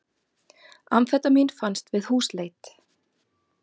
Amfetamín fannst við húsleit